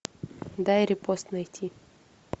дай репост найти